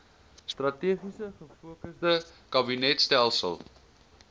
strategies gefokusde kabinetstelsel